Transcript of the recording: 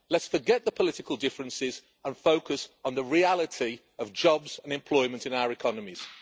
Let's forget the political differences and focus on the reality of jobs and employment in our economies.